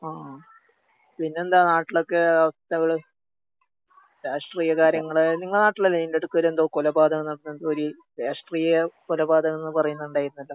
ആഹ്. പിന്നെന്താ നാട്ടിലൊക്കെ അവസ്ഥകള്? രാഷ്ട്രീയ കാര്യങ്ങള്, നിങ്ങളെ നാട്ടിലല്ലേ ഇതിന്റെടയ്ക്കൊരെന്തോ കൊലപാതകം അങ്ങനെ എന്തോര് രാഷ്ട്രീയ കൊലപാതകംന്ന് പറയുന്നുണ്ടായിരുന്നല്ലോ?